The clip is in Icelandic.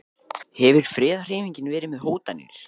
Hefur friðarhreyfingin verið með hótanir?